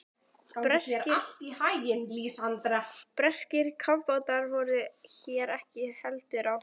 Breskir kafbátar voru hér ekki heldur á ferð.